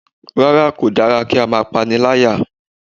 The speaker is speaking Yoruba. Rárá kò dára kí á máa pániláyà